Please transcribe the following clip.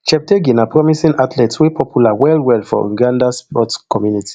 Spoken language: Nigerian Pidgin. cheptegei na promising athlete wey popular wellwell for uganda sports community